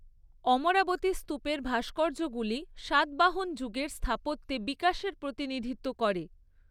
অমরাবতী স্তূপের ভাস্কর্যগুলি সাতবাহন যুগের স্থাপত্যে বিকাশের প্রতিনিধিত্ব করে।